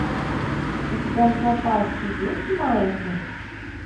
у тебя в запасе есть маятник